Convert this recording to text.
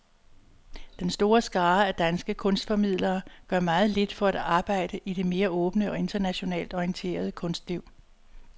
Den store skare af danske kunstformidlere gør meget lidt for at arbejde i det mere åbne og internationalt orienterede kunstliv.